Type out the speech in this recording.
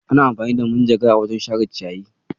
Ana amfani da manjagara wajen share ciyayi.